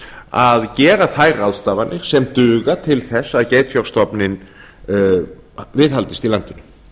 að gera þær ráðstafanir sem duga til að geitfjárstofninn viðhaldist í landinu